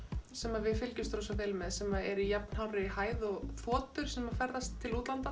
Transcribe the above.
sem við fylgjumst rosa vel með sem eru í jafn hárri hæð og þotur sem ferðast til útlanda